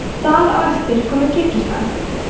þar á eftir koma kirgisistan